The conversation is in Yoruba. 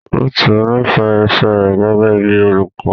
Ruth nífẹ̀ẹ́ iṣẹ́ rẹ̀ gẹ́gẹ́ bíi olùkọ́.